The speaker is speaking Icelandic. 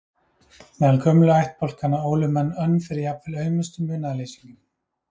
Meðal gömlu ættbálkanna ólu menn önn fyrir jafnvel aumustu munaðarleysingjum.